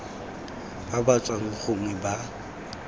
ba ba tswang gongwe ba